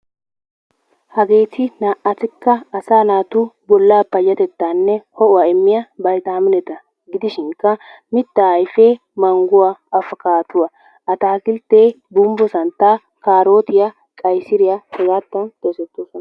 Hageeti naa"atikka asaa naatu bollaa payyatettaanne ho"uwa immiya baytaamineta gidishinkka mittaa ayfee mangguwa, afkkaadduwa, ataakilttee gumbbo santtaa, kaarootiya, qayisiriya hegaattan xeesettoosona.